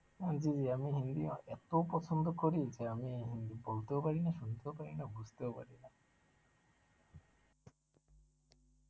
আমি হিন্দি অ~ এত পছন্দ করি যে আমি হিন্দি বলতেও পারিনা সুনতেও পারি না বুঝতেও পারিনা,